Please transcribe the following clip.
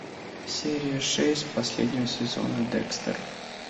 серия шесть последнего сезона декстер